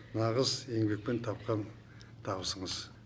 нағыз еңбекпен тапқан табысыңыз